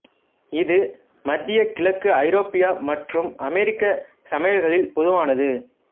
இது மத்திய கிழக்கு ஐரோப்பிய மற்றும் அமெரிக்க சமையல்களில் பொதுவானது